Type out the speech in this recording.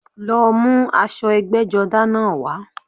Lọ mú aṣọ ẹgbẹ́jọdá náà wá